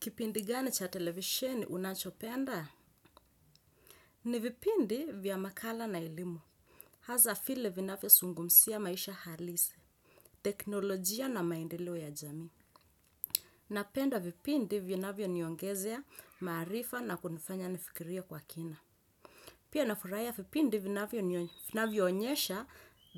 Kipindi gani cha televisheni unachopenda? Ni vipindi vya makala na elimu. Hasa vile vinavyozungumzia maisha halisi, teknolojia na maendeleo ya jami. Napenda vipindi vinavyoniongezea maarifa na kunifanya nifikirie kwa kina. Pia nafurahia vipindi vinavyo nionyesha